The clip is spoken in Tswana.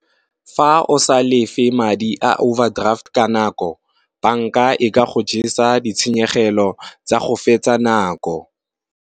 Fa o sa lefe madi a overdraft ka nako. Banka e ka go jesa ditshenyegelo tsa go fetsa nako.